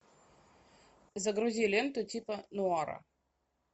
загрузи ленту типа нуара